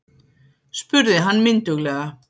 spurði hann mynduglega.